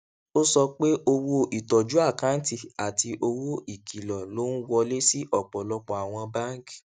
ó sọ pé owó ìtọjú àkáǹtì àti owó ìkìlò ló ń wọlé sí ọpọlọpọ àwọn báńkì